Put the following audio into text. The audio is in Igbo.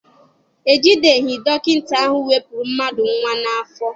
E ji deghị dọkịta ahụ wepụrụ mmadụ nwa n'afọ.